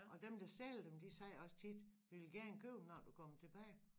Og dem der sælger dem de sagde også tit vi vil gerne købe den når du kommer tilbage